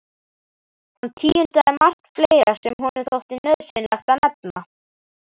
Hann tíundaði margt fleira sem honum þótti nauðsynlegt að nefna.